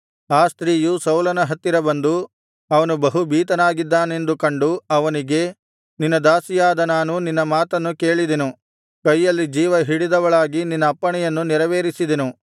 ಆ ಸ್ತ್ರೀಯು ಸೌಲನ ಹತ್ತಿರ ಬಂದು ಅವನು ಬಹು ಭೀತನಾಗಿದ್ದಾನೆಂದು ಕಂಡು ಅವನಿಗೆ ನಿನ್ನ ದಾಸಿಯಾದ ನಾನು ನಿನ್ನ ಮಾತನ್ನು ಕೇಳಿದೆನು ಕೈಯಲ್ಲಿ ಜೀವಹಿಡಿದವಳಾಗಿ ನಿನ್ನ ಅಪ್ಪಣೆಯನ್ನು ನೆರವೇರಿಸಿದೆನು